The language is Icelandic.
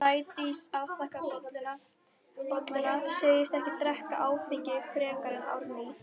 Sædís afþakkar bolluna, segist ekki drekka áfengi frekar en Árný.